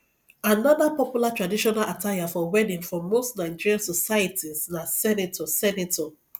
another popular traditional attire for wedding for most nigerian societies na senator senator